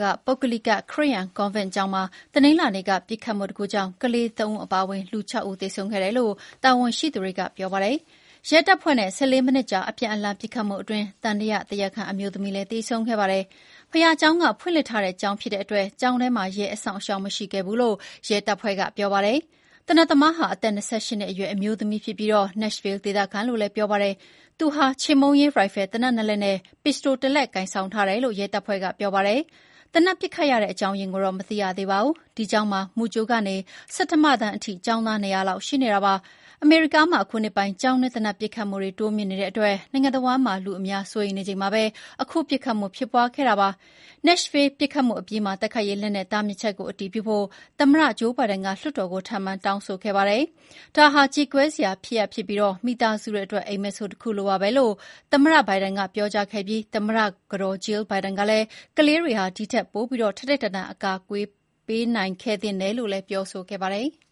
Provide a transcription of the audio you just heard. က ပုဂ္ဂလိက ခရစ်ယာန်ကွန်ဗင့် ကျောင်းမှာ တနင်္လာနေ့က ပစ်ခတ်မှုဖြစ်ပွားခဲ့လို့ လူ ၆ ဦး သေဆုံးခဲ့ပြီးအဲထဲမှာ ကလေးသုံးဦးပါဝင်တယ်လို့ တာဝန်ရှိသူတွေက ပြောပါတယ်။ ရဲတပ်ဖွဲ့နဲ့ ၁၄ မိနစ်ကြာ အပြန်အလှန်ပစ်ခတ်မှုအတွင်း သံသယတရားခံ အမျိုးသမီးလည်းသေဆုံးခဲ့ပါတယ်။ ဘုရားကျောင်းက ဖွင့်လှစ်ထားတဲ့ကျောင်းဖြစ်လို့ ကျောင်းထဲမှာ ရဲအစောင့်အရှောက်မရှိခဲ့ဘူးလို့ ရဲတပ်ဖွဲ့က ပြောပါတယ်။ သေနတ်သမားသမားဟာ အသက် ၂၈ နှစ်အရွယ်ရှိပြီး Nashville ဒေသခံလို့ ပြောပါတယ်။ သူဟာ ချေမှုန်းရေး ရိုင်ဖယ်သေနတ်နှစ်လက်နဲ့ ပစ္စတိုတစ်လက် ကိုင်ဆောင်ထားတယ်လို့ ရဲတပ်ဖွဲ့ကပြောပါတယ်။ သေနတ်ပစ်ခတ်ရတဲ့အကြောင်းအရင်းကိုတော့ မသိရသေးပါဘူး။ ဒီကျောင်းမှာ မူကြိုကနေ ဆဋ္ဌမတန်းအထိ ကျောင်းသား ၂၀၀ လောက် ရှိနေတာပါ။ အမေရိကားမှာ အခုနှစ်ပိုင်း ကျောင်းတွင်း သေနတ်ပစ်ခတ်မှုတွေ တိုးမြင့်နေလို့ နိုင်ငံတဝှမ်းမှာ လူအများ စိုးရိမ်နေချိန်မှာ အခု ပစ်ခတ်မှုဖြစ်ခဲ့တာဖြစ်ပါတယ်။ Nashville ပစ်ခတ်မှုအပြီးမှာ တိုက်ခိုက်ရေး လက်နက်တားမြစ်ချက်ကို အတည်ပြုဖို့ သမ္မတဂျိုးဘိုင်ဒန်က လွှတ်တော်ကို ထပ်မံတောင်းဆိုခဲ့ပါတယ်။ "ဒါဟာ ကြေကွဲစရာဖြစ်ပြီး မိသားစုတွေအတွက် အိပ်မက်ဆိုးတခုလိုပါပဲ" လို့ သမ္မတဘိုင်ဒန်ကပြောခဲ့ပြီး သမ္မတကတော်ကလည်း ကလေးတွေဟာ ဒီထက်ပို ထိုက်ထိုက်တန်တန် အကာအကွယ်ပေးနိုင်ခဲ့သင့်တယ်လို့ ပြောခဲ့ပါတယ်။